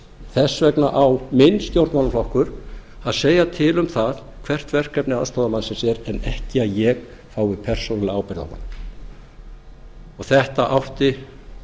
þess vegna á minn stjórnmálaflokkur að segja til um það hvert verkefni aðstoðarmannsins er en ekki að ég beri persónulega ábyrgð á honum þetta átti